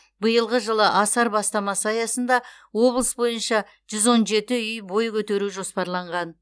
биылғы жылы асар бастамасы аясында облыс бойыншажүз он жеті үй бой көтеру жоспарланған